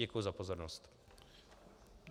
Děkuji za pozornost.